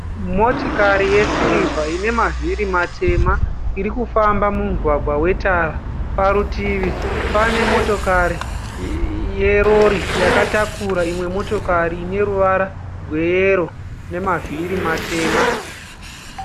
Motokari yesirivha ine mavhiri matema irikufamba mumugwagwa wetara. Parutivi pane motokari yerori yakatakura imwe motokari ine ruvara rweyero nemavhiri matema.